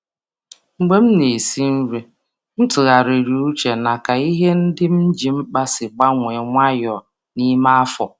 Mgbe m na-esi nri, m tụgharịrị uche na ka ihe ndị m ji mkpa si gbanwee nwayọọ n’ime afọ.